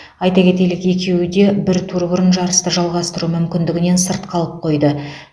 айта кетелік екеуі де бір тур бұрын жарысты жалғастыру мүмкіндігінен сырт қалып қойды